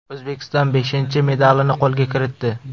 O‘zbekiston beshinchi medalini qo‘lga kiritdi.